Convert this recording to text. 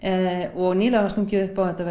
og nýlega var stungið upp á að þetta